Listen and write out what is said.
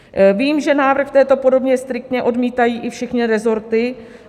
Vím, že návrh v této podobě striktně odmítají i všechny resorty.